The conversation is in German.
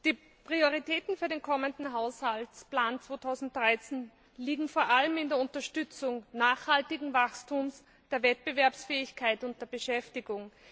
Die Prioritäten für den kommenden Haushaltsplan 2013 liegen vor allem in der Unterstützung nachhaltigen Wachstums, der Wettbewerbsfähigkeit und der Beschäftigung.